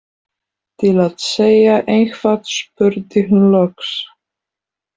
Til að segja eitthvað spurði hún loks: